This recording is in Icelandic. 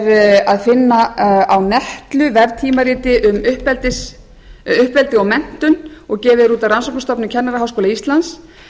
er að finna á netlu veftímariti um uppeldi og menntun og gefið er út af rannsóknastofnun kennaraháskóla íslands